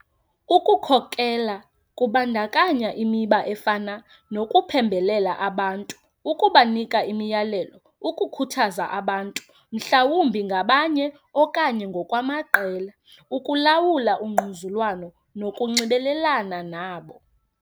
Ukukhokela kubandakanya imiba efana nokuphembelela abantu, ukubanika imiyalelo, ukukhuthaza abantu, mhlawumbi ngabanye okanye ngokwamaqela, ukulawula ungquzulwano nokunxibelelana nabo.